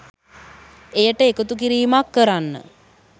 එයට එකතු කිරීමක් කරන්න